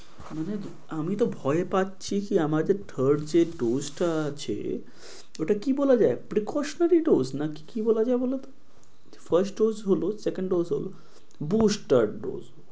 আমি তো ভয় পাচ্ছি কি আমার যে third dose যে আছে। ওটা কি বলা যায় precautionary dose নাকি বলা যায় বলত first dose হলো second dose হলো booster dose